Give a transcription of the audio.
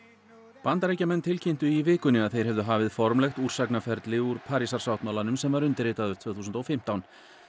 Bandaríkjamenn tilkynntu í vikunni að þeir hefðu hafið formlegt úr Parísarsáttmálanum sem var undirritaður tvö þúsund og fimmtán